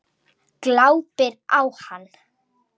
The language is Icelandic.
Glápir á hana.